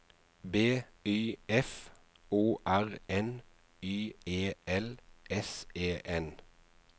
B Y F O R N Y E L S E N